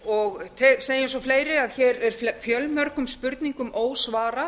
og segi eins og fleiri að hér er fjölmörgum spurningum ósvarað